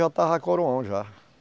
Eu estava coroão já.